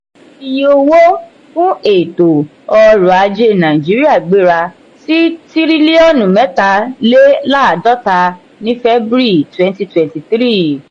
iye owó fún ètò orò-ajé nàìjíríà gbéra sí tiriliọnu mẹta-le-laadota ni february twenty twenty three.